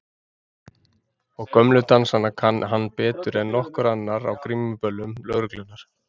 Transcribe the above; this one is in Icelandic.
Og gömlu dansana kann hann betur en nokkur annar á grímuböllum lögreglunnar.